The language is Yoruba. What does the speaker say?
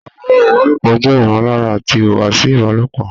Ọ̀rọ̀ ìbálòpọ̀ jẹ́ ìmọ̀lára àti ìhùwàsí ìbálòpọ̀